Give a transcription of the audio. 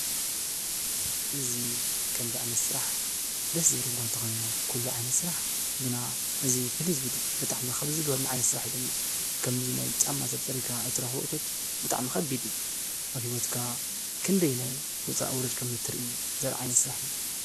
እዚ ከምዚ ዓይነት ስራሕ ደስ ዝብል እኳ እንተኾነ ኩሉ ዓይነት ስራሕ ግና እዚብጣዕሚ ካብ ዝገርሙ ዓይነት ስራሕ ዝብል እዩ። ከምዚ ናይ ጫማ ሰብ ፀሪግካ እትረኽቦ እቶት ብጣዕሚ ከቢድ እዩ። ኣብ ሂወትካ ክንደይ ውፃእ ውረድ ከም እትሪኢ ዘርኢ ዓይነት ስራሕ እዩ።